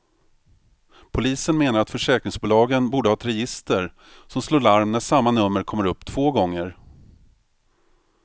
Polisen menar att försäkringsbolagen borde ha ett register som slår larm när samma nummer kommer upp två gånger.